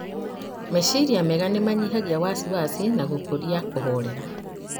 Meciria mega nĩmanyihagia wasiwasi na gũkuria kũhorera